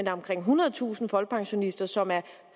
er omkring ethundredetusind folkepensionister som er